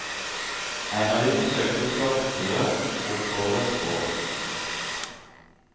En av dem forsøkte å klatre oppover et strå.